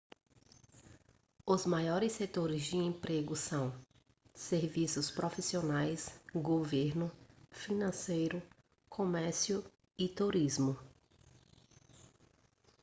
os maiores setores de emprego são serviços profissionais governo financeiro comércio e turismo